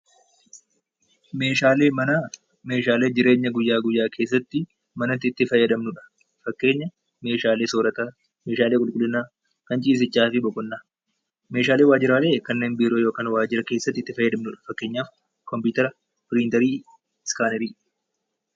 Meeshaaleen manaa meeshaalee jireenya guyyaa guyyaa keessatti itti fayyadamnudha. Fakkeenyaaf meeshaalee soorataa, meeshaalee qulqullinaa, kan ciisichaa fi fa'i. Meeshaaleen waajjiraalee yookaan biiroo keessattifayyadanidha.